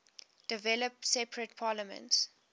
developed separate parliaments